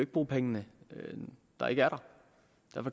bruge penge der ikke er der